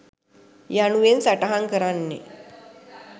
යනුවෙන් සටහන් කරන්නේ